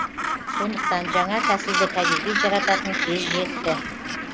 сондықтан жаңа тәсілді кәдеге жарататын кез жетті